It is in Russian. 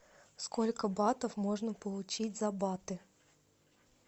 сколько батов можно получить за баты